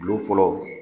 Bulon fɔlɔ